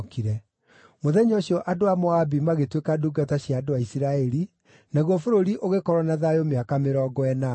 Mũthenya ũcio andũ a Moabi magĩtuĩka ndungata cia andũ a Isiraeli, naguo bũrũri ũgĩkorwo na thayũ mĩaka mĩrongo ĩnana.